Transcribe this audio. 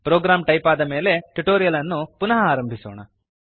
program type ಆದಮೇಲೆ tutorial ಅನ್ನು ಪುನಃ ಆರಂಭಿಸೋಣ